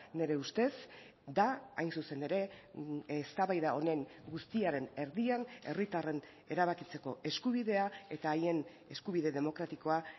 nire ustez da hain zuzen ere eztabaida honen guztiaren erdian herritarren erabakitzeko eskubidea eta haien eskubide demokratikoa